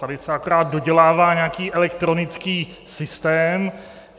Tady se akorát dodělává nějaký elektronický systém.